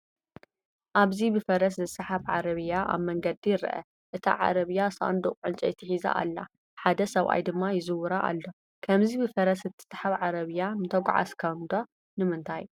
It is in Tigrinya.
ኣብዚ ብፈረስ ዝስሓብ ዓረብያ ኣብ መንገዲ ይርአ። እታ ዓረብያ ሳንዱቕ ዕንጨይቲ ሒዛ ኣላ፡ ሓደ ሰብኣይ ድማ ይዝውራ ኣሎ። ከምዚ ብፈረስ እትስሓብ ዓረብያ ምተጓዓዝካዶ? ንምንታይ?